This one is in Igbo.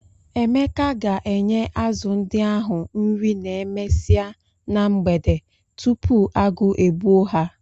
Emeka ga-enye azụ ndị ahụ nri n'emesia na mgbede tupu agụụ e gbuo ha.